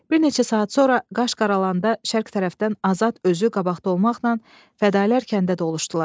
Bir neçə saat sonra qaş qaralanda şərq tərəfdən Azad özü qabaqda olmaqla fədaillər kəndə doluşdular.